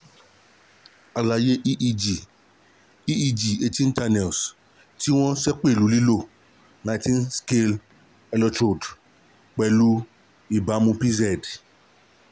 alaye eeg eeg eighteen channel ti won sepelu lilo nineteen scalp electrodes pelu ibamu pz